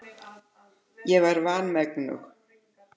Ég var vanmegnug.